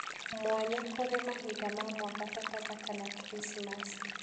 mwanya kũrĩ mahinda ma mwaka ta pathaka, na kiricimaci